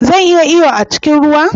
Zan iya iyo a cikin ruwa?